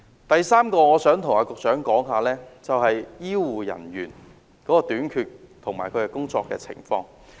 第三個項目，我想對局長說的是醫護人員的短缺及工作情況。